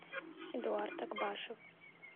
эдуард акбашев